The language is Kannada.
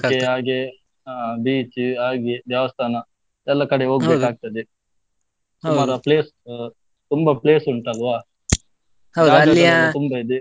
beach ಹಾಗೆ ದೇವಸ್ಥಾನ, ಎಲ್ಲಾ ಕಡೆ ಆಗ್ತದೆ, place ಅಹ್ ತುಂಬಾ place ಉಂಟಲ್ವಾ ತುಂಬ ಇದೆ?